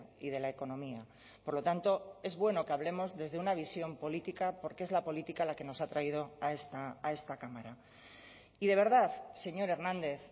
y de la economía por lo tanto es bueno que hablemos desde una visión política porque es la política la que nos ha traído a esta cámara y de verdad señor hernández